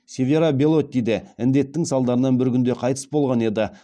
севера белотти де індеттінің салдарынан бір күнде қайтыс болған еді